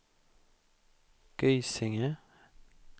Gysinge